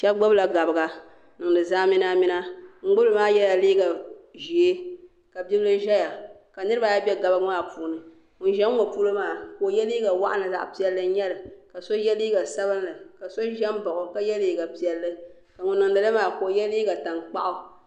Shɛba gbibila gabiga n-niŋdi zamminamina. Ŋun gbibi li maa yɛla liiga ʒee ka bibila zaya ka niriba ayi be gabiga maa puuni. Ŋun za ŋ-ŋɔ polo maa ka o ye liiga waɣinli zaɣ' piɛlli n-nyɛ li ka so ye liiga sabilinli ka so za m-baɣi o ka ye liiga piɛlli ka ŋun niŋdi li maa ka o ye liiga taŋkpaɣu.